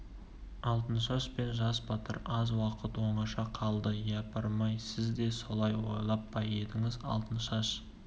алтыншаш пен жас батыр аз уақыт оңаша қалды япырмай сіз де солай ойлап па едіңіз алтыншаш